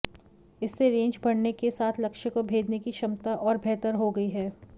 इससे रेंज बढ़ने के साथ लक्ष्य को भेदने की क्षमता और बेहतर हो गई है